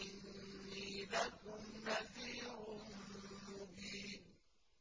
إِنِّي لَكُمْ نَذِيرٌ مُّبِينٌ